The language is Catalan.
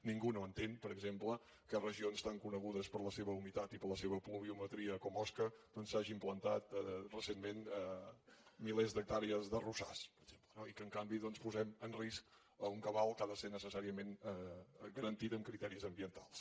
ningú no entén per exemple que en regions tan conegudes per la seva humitat i per la seva pluviometria com osca doncs s’hagin plantat recentment milers d’hectàrees d’arrossars per exemple no i que en canvi posem en risc un cabal que ha de ser necessàriament garantit amb criteris ambientals